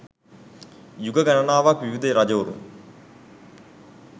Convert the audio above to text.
යුග ගණනාවක් විවිධ රජවරුන්